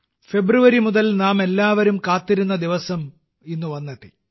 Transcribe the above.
ഫെബ്രുവരി മുതൽ നാമെല്ലാവരും കാത്തിരുന്ന ദിവസം ഇന്ന് വന്നെത്തി